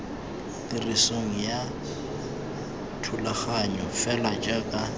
tirisong ga thulaganyo fela jaaka